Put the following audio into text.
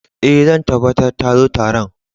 Eh, zan tabatar ta zo Taron.